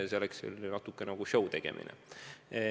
See oleks natuke nagu šõu tegemine.